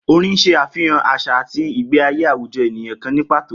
Orin ń s̩e àfihàn às̩à àti ìgbé ayé àwùjo̩ ènìyàn kan ní pàtó